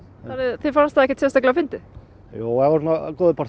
þér fannst það ekkert sérstaklega fyndið jú það voru góðir partar